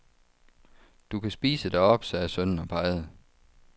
Du kan spise deroppe, sagde sønnen og pegede.